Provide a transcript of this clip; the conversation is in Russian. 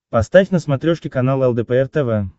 поставь на смотрешке канал лдпр тв